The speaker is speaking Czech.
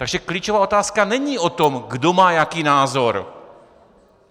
Takže klíčová otázka není o tom, kdo má jaký názor.